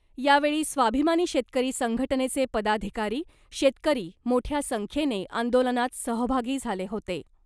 यावेळी स्वाभिमानी शेतकरी संघटनेचे पदाधिकारी , शेतकरी मोठ्या संख्येने आंदोलनात सहभागी झाले होते .